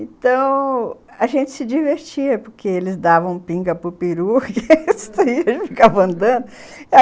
Então, a gente se divertia, porque eles davam pinga para o peru e a gente ficava andando